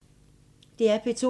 DR P2